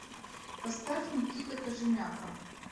поставь никита кожемяка